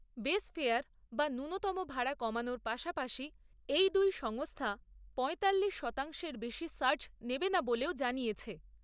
Base fare বা ন্যূনতম ভাড়া কমানোর পাশাপাশি এই দুই সংস্থা, পয়তাল্লিশ শতাংশের বেশি সার্জ নেবে না বলেও জানিয়েছে।